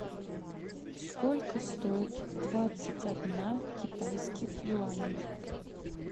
сколько стоит двадцать одна китайских юаней